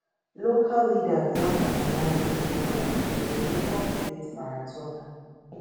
local leaders bin organise memorial to remember di late marathoner